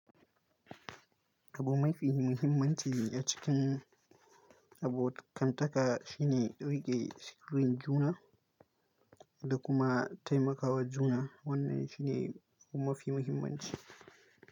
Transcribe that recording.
Abu mafi muhimmanci a cikin abo kantaka shine riƙe sirrin juna da kuma taimakawa juna. Wannan shi ne abu mafi muhimmanci.